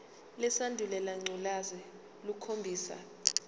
lesandulela ngculazi lukhombisa